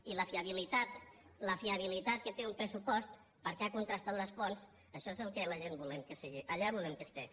i la fiabilitat la fiabilitat que té un pressupost perquè ha contrastat les fonts això és el que la gent volem que sigui allà volem que hi sigui